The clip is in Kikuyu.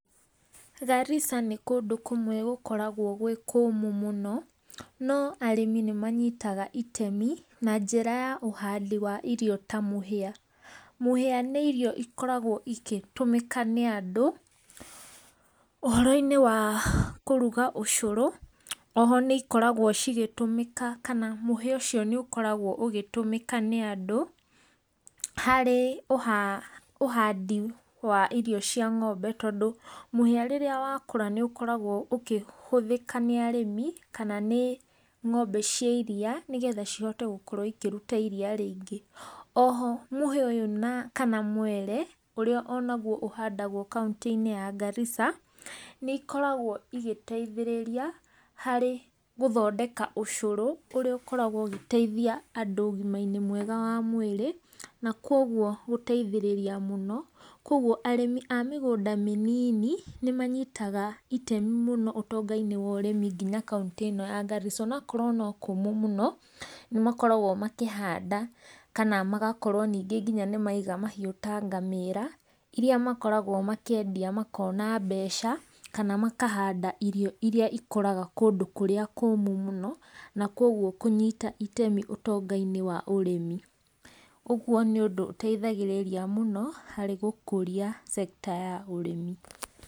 Garissa nĩ kũndũ kũmwe gũkoragwa gwĩ kũmũ mũno, no arĩmi nĩ manyitaga itemi na njĩra ya ũhandi wa indo ta mũhĩa, mũhĩa nĩ irio ikoragwo igĩtũmĩka nĩ andũ ũhoroinĩ wa kũruga ũcũru, oho nĩcikoragwa cigĩtũmĩka kana mũhĩa ũcio nĩ ũkoragwa ũgĩtumĩka nĩ andũ, harĩ ũhadi wa irio cia ng'ombe, tondũ rĩrĩa mũhĩa rĩrĩa wakũra nĩũkoragwa ũkĩhuthĩka nĩa arĩmi kana nĩ ng'ombe cia iria nĩgetha ihote ikĩruta iria rĩingĩ, oho mũhĩa ũyũ kana mwere ũrĩa onaguo ũhandagwo kaũntĩinĩ ya Garissa, nĩikoragwo igĩteithĩrĩria harĩ kũthondeka ũcũrũ ,ũrĩa ũgĩkoragwa ũgĩteithia andũ ũgimainĩ mwega wa mwĩrĩ na kwoguo gũteithĩrĩria mũno, kwoguo arĩmi amĩgũnda mĩnini nĩmanyitaga ũtemi mũno ũtongainĩ wa ũrĩmi nginya kaũntĩinĩ ĩno ya Garissa ,ona wakorwo nĩ kũmũ mũno nĩmakoragwo makĩhanda kana magakorwo ningĩ nĩmaiga mahiũ ta ngamĩra, iria makoraga makĩendia makona mbeca, kana makahanda irio irĩa ikũraga kũndũ kũrĩa kũmũ mũno na kwoguo kũnyita itemi ũtongainĩ wa ũrĩmi. Uguo nĩ ũndũ ũteithagirĩria mũno harĩ gũkũria sekta ya ũrĩmi.